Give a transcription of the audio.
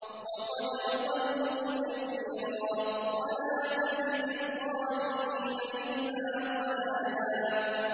وَقَدْ أَضَلُّوا كَثِيرًا ۖ وَلَا تَزِدِ الظَّالِمِينَ إِلَّا ضَلَالًا